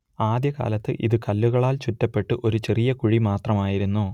ആദ്യ കാലത്ത് ഇത് കല്ലുകളാൽ ചുറ്റപ്പെട്ട് ചെറിയ ഒരു കുഴി മാത്രമായിരുന്നു